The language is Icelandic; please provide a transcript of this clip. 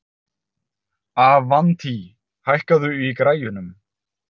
Avantí, hækkaðu í græjunum.